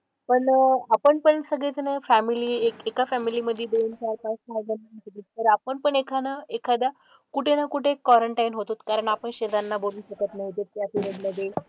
पण आपण पण सगळेजणं फॅमिली एक एका फॅमिली मधे दोन, चार, पाच सहाजण राहत होते. तर आपण पण एकानं एखादा कुठे ना कुठे क्वरनटाईन होत होतो. कारण आपण शेजाऱ्यांना बोलू शकत नाही दुसऱ्या पिरेड मधे.